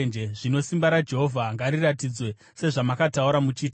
“Zvino simba raJehovha ngariratidzwe, sezvamakataura muchiti: